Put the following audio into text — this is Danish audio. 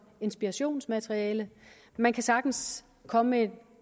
inspirationsmateriale man kan sagtens komme med